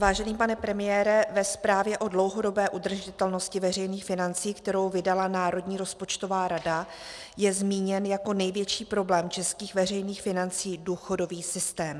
Vážený pane premiére, ve zprávě o dlouhodobé udržitelnosti veřejných financí, kterou vydala Národní rozpočtová rada, je zmíněn jako největší problém českých veřejných financí důchodový systém.